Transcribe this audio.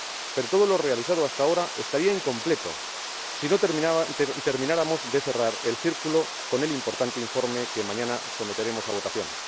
Pero todo lo realizado hasta ahora estaría incompleto si no termináramos de cerrar el círculo con el importante informe que mañana someteremos a votación.